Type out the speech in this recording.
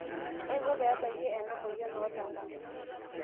kaiko peebaki ena moyian oo lala